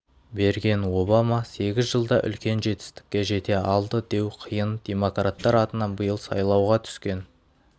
берген обама сегіз жылда үлкен жетістікке жете алды деу қиын демократтар атынан биыл сайлауға түскен